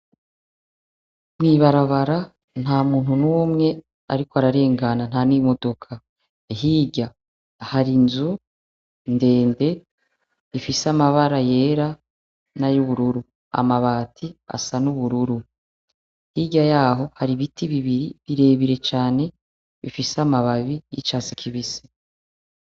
Mwibarabara nta muntu n'umwe, ariko ararengana nta n'imodoka hirya hari inzu ndende ifise amabara yera na y' ubururu amabati asa n'ubururu hirya yaho hari ibiti bibiri birebire canee isamababi y'icatsi kibisi.